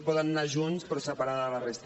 poden anar junts però separats de la resta